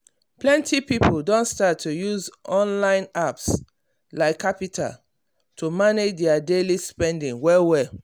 plenty people don start to use online apps like qapital to manage their daily spending well well.